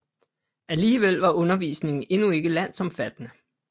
Alligevel var undervisningen endnu ikke landsomfattende